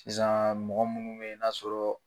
Sisan mɔgɔ munnu be yen n'a sɔrɔ